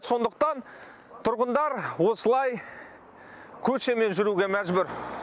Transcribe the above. сондықтан тұрғындар осылай көшемен жүруге мәжбүр